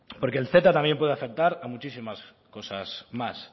porque el ceta también puede afectar a muchísimas cosas más